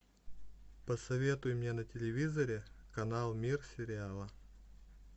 посоветуй мне на телевизоре канал мир сериала